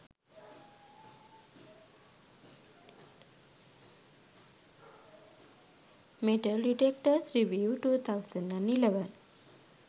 metal detectors reviews 2011